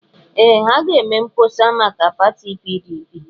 Ee! Ha ga-eme mkpọsa maka pati PDP.